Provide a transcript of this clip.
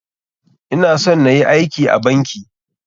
Ina son nayi aiki a banki.